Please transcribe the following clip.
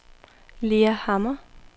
Lea Hammer